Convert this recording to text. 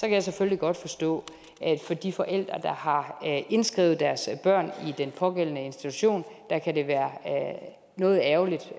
jeg selvfølgelig godt forstå at for de forældre der har indskrevet deres børn i den pågældende institution kan det være noget ærgerligt